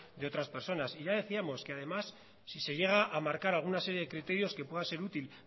de otras personas y ya decíamos que además si se llega a marcar alguna serie de criterios que pueda ser útil